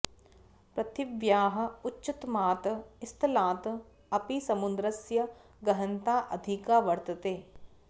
पृथिव्याः उच्चतमात् स्थलात् अपि समुद्रस्य गहनता अधिका वर्तते